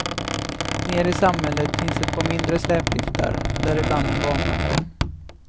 Nere i samhället finns ett par mindre släpliftar, däribland en barnbacke.